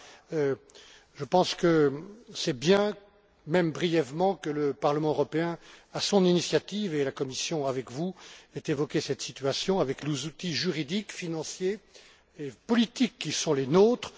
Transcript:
Voilà, je pense que c'est bien, même brièvement, que le Parlement européen, à son initiative, avec la Commission, ait évoqué cette situation avec les outils juridiques, financiers et politiques qui sont les nôtres.